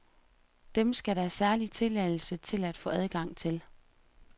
Dem skal der særlig tilladelse til at få adgang til.